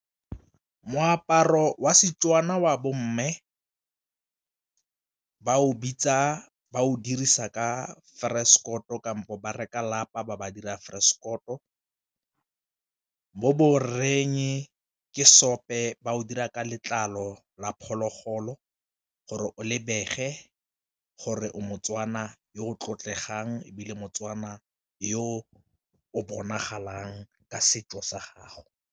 Moaparo wa Setswana wa bo mme ba o bitsa ba o dirisa ka kampo ba reka lapa ba ba dira , mo bo rreng ke seope ba o dira ka letlalo la phologolo gore o lebege gore o moTswana yo o tlotlegang ebile motswana yo o bonagalang ka setso sa gago.